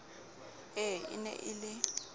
ee e ne e le